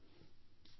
ನಮಸ್ಕಾರ